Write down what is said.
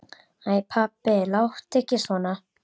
Æ pabbi, láttu ekki svona.